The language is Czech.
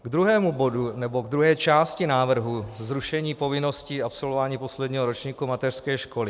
K druhému bodu nebo k druhé části návrhu - zrušení povinnosti absolvování posledního ročníku mateřské školy.